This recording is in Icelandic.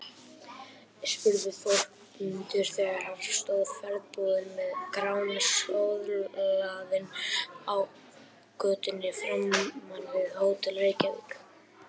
spurði Þórmundur þegar hann stóð ferðbúinn með Grána söðlaðan á götunni framan við Hótel Reykjavík.